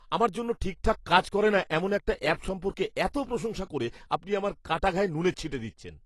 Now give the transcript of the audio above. আমার জন্য ঠিকঠাক কাজ করে না এমন একটা অ্যাপ সম্পর্কে এত প্রশংসা করে আপনি আমার কাটা ঘায়ে নুনের ছিটে দিচ্ছেন।